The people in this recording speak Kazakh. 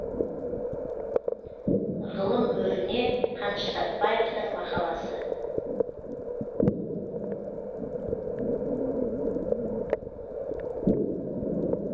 ғылым өріне қаныш сәтбаевтың мақаласы